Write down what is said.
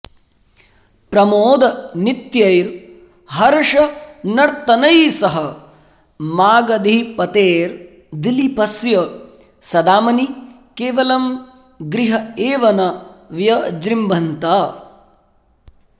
प्रमोदनृत्यैर्हर्षनर्त्तनैः सह मागधीपतेर्दिलीपस्य सदामनि केवलं गृह एव न व्यजृम्भन्त